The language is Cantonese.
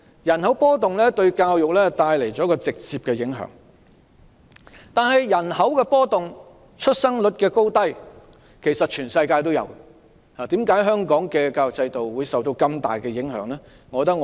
人口波動對教育帶來直接的影響，但其實全世界也有人口波動和出生率高低的情況，為何香港的教育制度會受到如此大的影響？